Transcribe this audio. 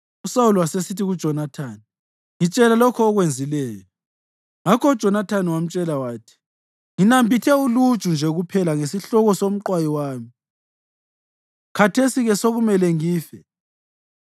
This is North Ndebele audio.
USawuli wasesithi kuJonathani, “Ngitshela lokho okwenzileyo.” Ngakho uJonathani wamtshela wathi, “Nginambithe uluju nje kuphela ngesihloko somqwayi wami. Khathesi-ke sokumele ngife!”